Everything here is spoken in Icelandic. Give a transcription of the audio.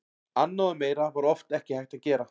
Annað og meira var oft ekki hægt að gera.